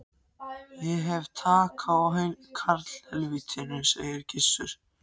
Ég hef tak á karlhelvítinu, sagði Gizur.